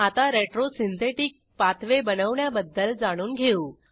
आता retro synthetic pathway बनवण्याबद्दल जाणून घेऊ